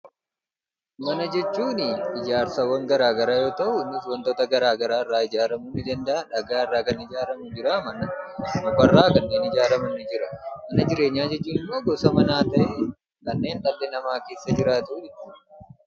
Mana jechuun ijaarsawwan garaagaraa yoo tahu waantota garaagaraa irraa ijaaramuu ni danda'a. Dhagaarraa Kan ijaaramu jira, mukarraa kanneen ijaaraman ni jira. Mana jireenya jechuun immoo gosa manaa tahee kanneen dhalli namaa keessa jiraatudha.